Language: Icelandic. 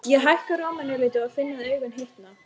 Ég hækka róminn örlítið og finn að augun hitna.